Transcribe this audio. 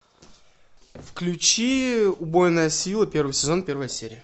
включи убойная сила первый сезон первая серия